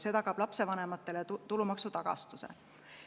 See tagab lapsevanematele tulumaksu tagastuse.